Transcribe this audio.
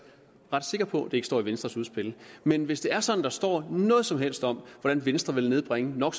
sikker på at det ikke står i venstres udspil men hvis det er sådan at der står noget som helst om hvordan venstre vil nedbringe no